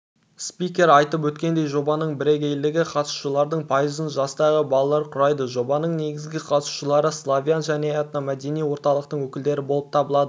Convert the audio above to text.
спикер айтып өткендей жобаның бірегейлігі қатысушылардың пайызын жастағы балалар құрайды жобаның негізгі қатысушылары славян және этномәдени орталықтың өкілдері болып табылады